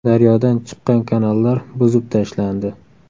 Daryodan chiqqan kanallar buzib tashlandi.